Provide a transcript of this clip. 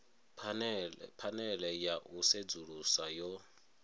phanele ya u sedzulusa yo